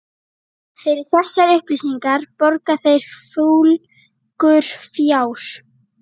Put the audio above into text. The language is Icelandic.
Fyrir þessar upplýsingar borga þeir fúlgur fjár.